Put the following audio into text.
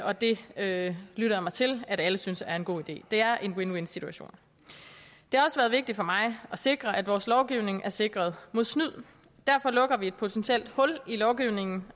og det det lytter jeg mig til alle synes er en god idé det er en win win situation det har også været vigtigt for mig at sikre at vores lovgivning er sikret mod snyd og derfor lukker vi et potentielt hul i lovgivningen